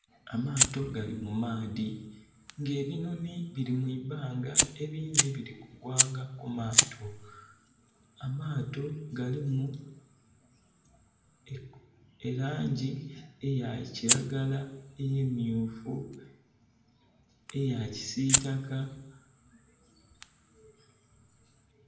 Amaato gali mu maadhi nga ebinhonhi biri mu ibanga ebindhi biri kugwanga ku maato. Amaato galimu elangi eyakilagala, emyufu ne ya kisitaka